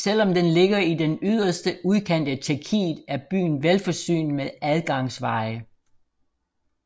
Selv om den ligger i den yderste udkant af Tjekkiet er byen velforsynet med adgangsveje